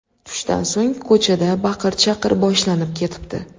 Tushdan so‘ng ko‘chada baqir-chaqir boshlanib ketibdi.